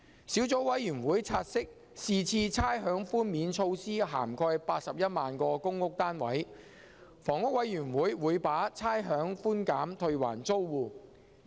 小組委員會察悉是次差餉寛免措施涵蓋81萬個公屋單位，香港房屋委員會會把差餉寬減退還租戶。